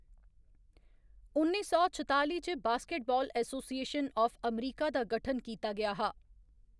उन्नी सौ छताली च, बास्केटबाल एसोसिएशन आफ अमरीका दा गठन कीता गेआ हा।